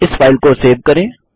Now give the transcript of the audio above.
अब इस फाइल को सेव करें